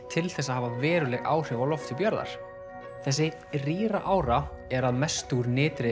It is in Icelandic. til þess að hafa veruleg áhrif á lofthjúp jarðar þessi rýra ára er að mestu úr